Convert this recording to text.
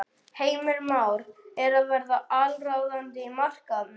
Heimir: Már er að verða allsráðandi á markaðnum?